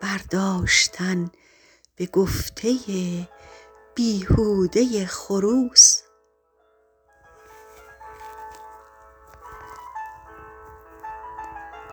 برداشتن به گفته بیهوده خروس